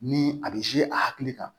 Ni a bɛ a hakili kan